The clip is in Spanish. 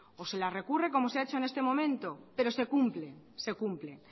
o se la recurre como se ha hecho en este momento pero se cumplen se cumple